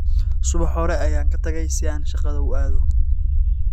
Subax hore ayaan ka tagay si aan shaqada u aado.